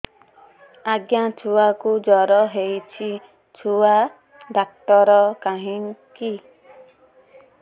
ଆଜ୍ଞା ଛୁଆକୁ ଜର ହେଇଚି ଛୁଆ ଡାକ୍ତର କାହିଁ କି